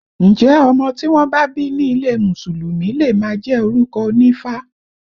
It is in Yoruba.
Ǹjẹ́ ọmọ tí wọ́n bá bí ní ilé Mùsùlùmí le máa jẹ́ orúkọ onífá?